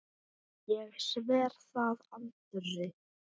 Ég sver það Andri.